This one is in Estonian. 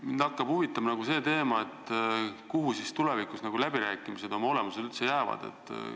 Mind hakkas huvitama see teema, kuhu tulevikus läbirääkimised oma olemuselt üldse jäävad.